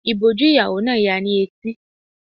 Ìbòjú ìyàwó náà ya ni etí.